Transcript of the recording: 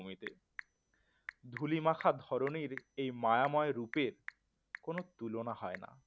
ধুলি মাখা ধরণীর এই মায়াময় রূপের কোন তুলনা হয় না